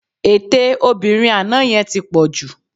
Ètè obìnrin àná yẹn ti pọ̀ jù